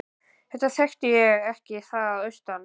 Þetta þekkti ég ekki að austan.